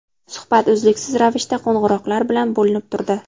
Suhbat uzluksiz ravishda qo‘ng‘iroqlar bilan bo‘linib turdi.